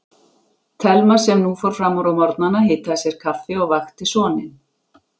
Thelma sem nú fór fram úr á morgnana, hitaði sér kaffi og vakti soninn.